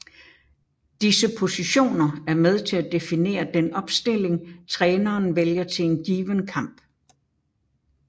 Disse positioner er med til at definere den opstilling træneren vælger til en given kamp